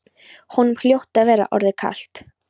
Honum hljóti að vera orðið kalt.